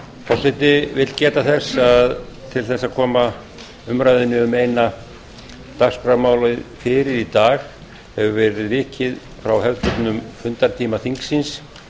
forseti vill geta þess að til þess að koma umræðunni um eina dagskrármálið fyrir í dag hefur verið vikið frá hefðbundnum fundartíma þingsins